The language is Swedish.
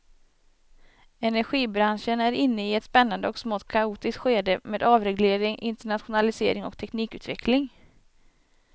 Energibranschen är inne i ett spännande och smått kaotiskt skede med avreglering, internationalisering och teknikutveckling.